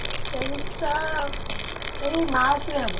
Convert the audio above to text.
Sixth semester ଏଇ March ରେ ହବ।